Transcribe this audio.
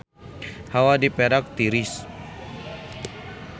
Hawa di Perak tiris